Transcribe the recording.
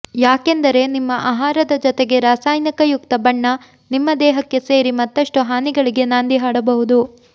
ಯಾಕೆಂದರೆ ನಿಮ್ಮ ಆಹಾರದ ಜೊತೆಗೆ ರಾಸಾಯನಿಕಯುಕ್ತ ಬಣ್ಣ ನಿಮ್ಮ ದೇಹಕ್ಕೆ ಸೇರಿ ಮತ್ತಷ್ಟು ಹಾನಿಗಳಿಗೆ ನಾಂದಿ ಹಾಡಬಹುದು